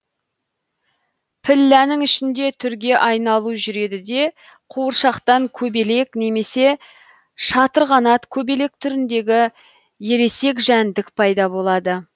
пілләнің ішінде түрге айналу жүреді де қуыршақтан көбелек немесе шатырқанат көбелек түріндегі ересек жәндік пайда болады